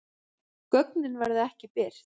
Gögnin verða ekki birt